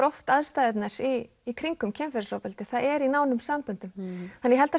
oft aðstæðurnar í kringum kynferðisofbeldi það er í nánum samböndum þannig að